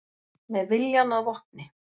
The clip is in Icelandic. Með viljann að vopni